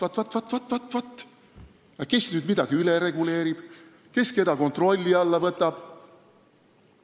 " Vaat-vaat, kes nüüd midagi üle reguleerib ja kes keda kontrolli alla võtab!